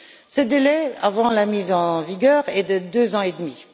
Ce délai avant la mise en vigueur est de deux ans et demi.